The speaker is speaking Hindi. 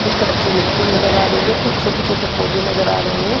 कुछ कच्ची मिट्टी नज़र आ रही है। कुछ छोटे-छोटे पौधे नज़र आ रहे हैं।